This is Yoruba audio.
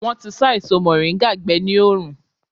Wọn tí sá èso moringa gbé ní oòrùn.